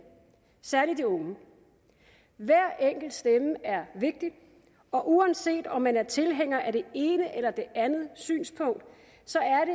særlig de unge hver enkelt stemme er vigtig og uanset om man er tilhænger af det ene eller det andet synspunkt